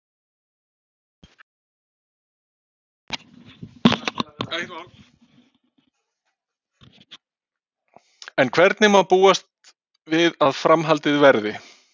En hvernig má búast við að framhaldið verði?